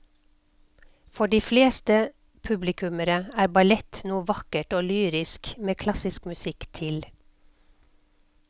For de fleste publikummere er ballett noe vakkert og lyrisk med klassisk musikk til.